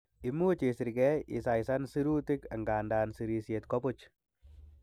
Imuch isirkei isaisan sirutik, angandan sirisiet ko buch.